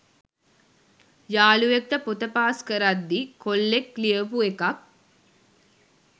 යාළුවෙක්ට පොත පාස් කරද්දි කොල්ලෙක් ලියපු එකක්